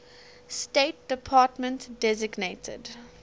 state department designated